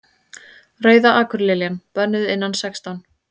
Rauða akurliljan. bönnuð innan sextán